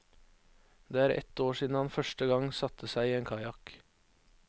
Det er ett år siden han første gang satte seg i en kajakk.